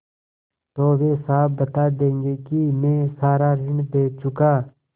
तो वे साफ बता देंगे कि मैं सारा ऋण दे चुका